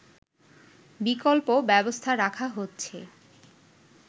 বিকল্প ব্যবস্থা রাখা হচ্ছে